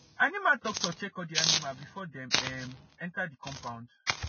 animal doctor check all the the animal before dem um enter the coumpound